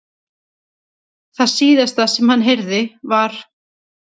Það síðasta sem hann heyrði var.